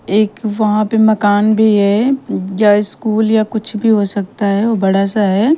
एक वहां पे मकान भी है जो स्कूल या कुछ भी हो सकता है वो बड़ा सा है।